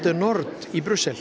nord í